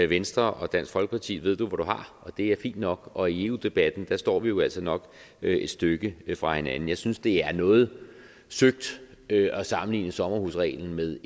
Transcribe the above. venstre og dansk folkeparti ved du hvor du har og det er fint nok og i eu debatten står vi jo altså nok et stykke fra hinanden jeg synes det er noget søgt at sammenligne sommerhusreglen med